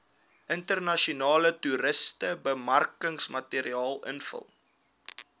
internasionale toerismebemarkingsmateriaal invul